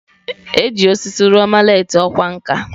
E ji osisi rụọ maleetị ọkwá nkà.